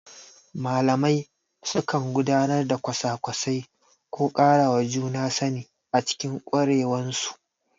Malamai sukan gudanar da kwasa-kwasai ko ƙarawa juna sani a cikin ƙwarewansu.